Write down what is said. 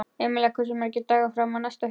Emilía, hversu margir dagar fram að næsta fríi?